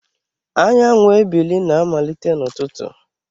Anyanwụ ebili na-amalite n'ụtụtụ